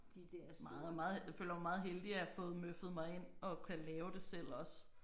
Meget meget jeg føler mig meget heldig at jeg har fået møffet mig ind og kan lave det selv også